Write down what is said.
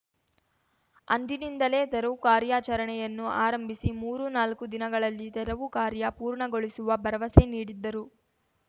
ಅಂದಿನಿಂದಲೇ ತೆರವು ಕಾರ್ಯಾಚರಣೆಯನ್ನೂ ಆರಂಭಿಸಿ ಮೂರು ನಾಲ್ಕು ದಿನಗಳಲ್ಲಿ ತೆರವು ಕಾರ್ಯ ಪೂರ್ಣಗೊಳಿಸುವ ಭರವಸೆ ನೀಡಿದ್ದರು